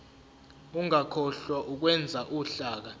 ungakhohlwa ukwenza uhlaka